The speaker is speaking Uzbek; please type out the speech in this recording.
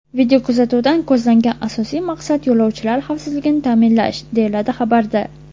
Videokuzatuvdan ko‘zlangan asosiy maqsad yo‘lovchilar xavfsizligini ta’minlash, deyiladi xabarda.